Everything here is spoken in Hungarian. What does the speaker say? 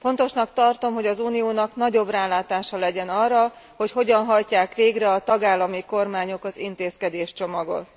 Fontosnak tartom, hogy az Uniónak nagyobb rálátása legyen arra, hogy hogyan hajtják végre a tagállami kormányok az intézkedéscsomagot.